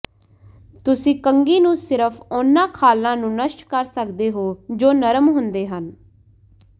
ਤੁਸੀਂ ਕੰਘੀ ਨੂੰ ਸਿਰਫ ਉਹਨਾਂ ਖਾਲਾਂ ਨੂੰ ਨਸ਼ਟ ਕਰ ਸਕਦੇ ਹੋ ਜੋ ਨਰਮ ਹੁੰਦੇ ਹਨ